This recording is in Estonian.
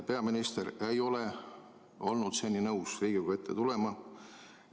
Peaminister ei ole olnud seni nõus Riigikogu ette tulema.